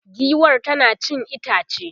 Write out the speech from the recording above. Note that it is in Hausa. giwar tana cin itace